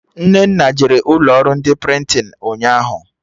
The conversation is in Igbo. Nnenna jere ụlọ ọrụ ndị prịntịn ụnyaahụ